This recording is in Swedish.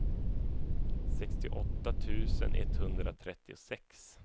sextioåtta tusen etthundratrettiosex